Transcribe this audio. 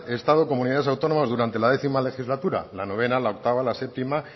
estado comunidades autónomas durante la décimo legislatura la noveno la octavo la séptimo